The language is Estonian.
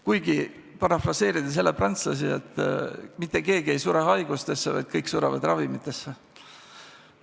Kuigi, parafraseerides jälle prantslasi, mitte keegi ei sure haigustesse, vaid kõik surevad ravimitesse.